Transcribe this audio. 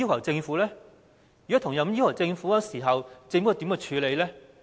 如果提出同樣要求，政府如何處理呢？